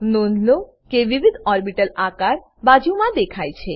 નોંધ લો કે વિવિધ ઓર્બીટલ આકાર બાજુમાં દેખાય છે